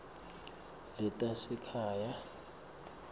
letasekhaya